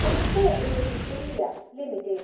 info edge India limited